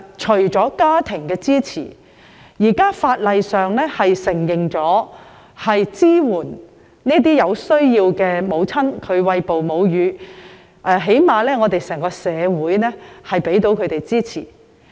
除了家庭的支持外，現時法例亦承諾支援有需要餵哺母乳的母親，最低限度整個社會也會給予她們支持。